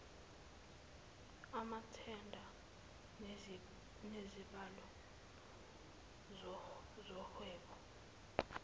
amathenda nezibalo zohwebo